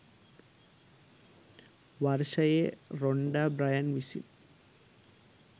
වර්ෂයේ Rhonda Byrne විසින්.